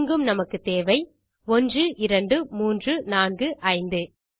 இங்கும் நமக்கு தேவை 1 2 3 4 5